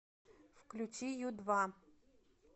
включи ю два